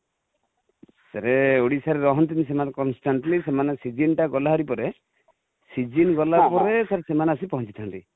sir Odisha ରେ ରହନ୍ତି ନି ସେମାନେ constantly ,ସେମାନେ season ଟା ଗଲା ଭାରି ପରେ, season ଗଲା ପରେ ସାର ସେମାନେ ଆସି ପହଞ୍ଚିଥାନ୍ତି